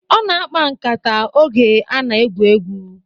Ọ na-akpa nkata oge a na-egwu egwu